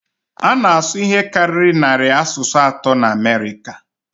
A na-asụ ihe karịrị narị asụsụ atọ na Amerịka